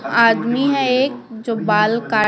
आदमी है एक जो बाल काट--